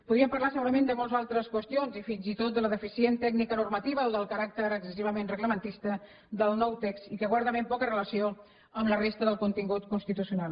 podríem parlar segurament de moltes altres qüestions i fins i tot de la deficient tècnica normativa o del caràcter excessivament reglamentista del nou text i que guarda ben poca relació amb la resta del contingut constitucional